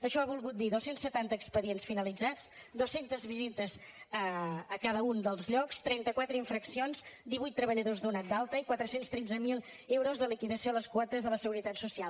això ha volgut dir dos cents i setanta expedients finalitzats dos cents visites a cada un dels llocs trenta quatre infraccions divuit treballadors donats d’alta i quatre cents i tretze mil euros de liquidació a les quotes de la seguretat social